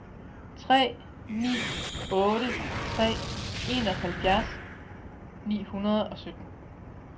tre ni otte tre enoghalvfjerds ni hundrede og sytten